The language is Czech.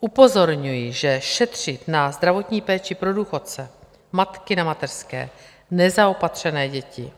Upozorňuji, že šetřit na zdravotní péči pro důchodce, matky na mateřské, nezaopatřené děti